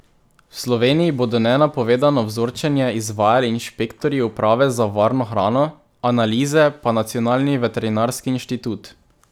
V Sloveniji bodo nenapovedano vzorčenje izvajali inšpektorji uprave za varno hrano, analize pa Nacionalni veterinarski inštitut.